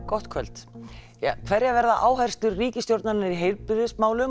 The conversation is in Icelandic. gott kvöld hverjar verða áherslur ríkisstjórnarinnar í heilbrigðismálum